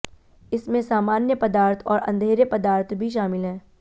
इसमें सामान्य पदार्थ और अंधेरे पदार्थ भी शामिल हैं